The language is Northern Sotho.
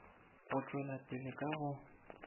go tšwela pele ka go